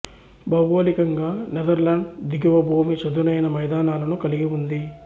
భౌగోళికంగా నెథర్లాండ్ దిగువ భూమి చదునైన మైదానాలను కలిగి ఉంది